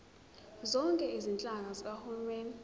zonke izinhlaka zikahulumeni